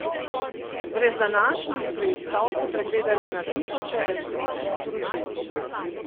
Brez današnjih preiskav so pregledali na tisoče elektronskih sporočil.